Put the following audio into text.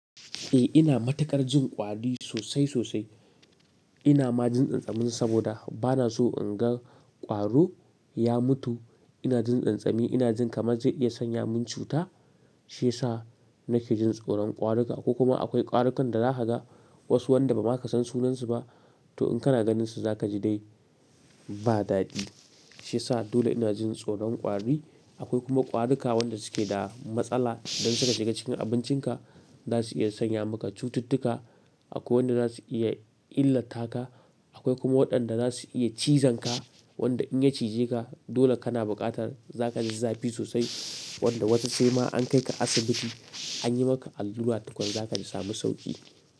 Eh ina matuƙar jin ƙwari sosai sosai. Ina ma jin ƙyanƙyamin saboda bana so in ga ƙwaro ya mutu. Ina jin ƙyanƙyami, ina jin kamar zai iya sanya mun cuta. Shi yasa nake jin tsoron ƙwaruka. Ko kuma akwai ƙwarukan da zaka ga, wasu wanda ba ma ka san sunansu ba, to in kana ganin su za ka ji dai ba dadi. Shi yasa dole ina jin tsoron ƙwari. Akwai kuma ƙwaruka wanda su ke da matsala, idan suka shiga cikin abincinka za su iya sanya maka cututtuka. Akwai wanda za su iya illata ka, akwai kuma waɗanda za su iya cizon ka. Wanda in ya cije ka dole kana buƙatar za ka ji zafi sosai, wanda wata sai ma an kai ka asibiti an yi maka allura tukwan zaka ji samu sauki.